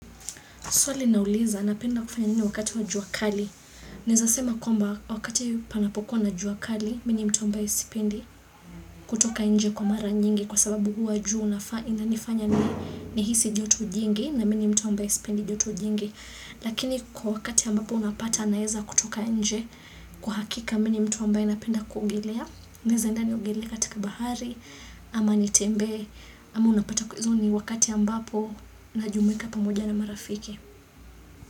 Swali inauliza, napenda kufanya nini wakati wa jua kali. Naeza sema kwamba, wakati panapo kuwa na jua kali, mi ni mtu ambaye sipendi kutoka nje kwa mara nyingi kwa sababu huwa jua inanifanya ni ni hisi joto jingi na mi ni mtu ambaye sipendi joto jingi. Lakini kwa wakati ambapo unapata naeza kutoka nje kwa hakika mi ni mtu ambaye napenda kuogelea. Naeza enda niogelee katika bahari ama nitembee ama unapata hizo ni wakati ambapo na jumuika pamoja na marafiki.